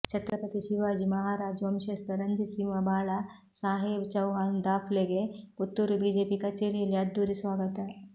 ಛತ್ರಪತಿ ಶಿವಾಜಿ ಮಹಾರಾಜ್ ವಂಶಸ್ಥ ರಂಜಿತ್ ಸಿಂಹ ಬಾಳಾ ಸಾಹೇಬ್ ಚೌಹಾನ್ ದಾಫ್ಲೆಗೆ ಪುತ್ತೂರು ಬಿಜೆಪಿ ಕಚೇರಿಯಲ್ಲಿ ಅದ್ಧೂರಿಯ ಸ್ವಾಗತ